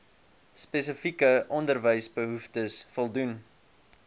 spesifieke onderwysbehoeftes voldoen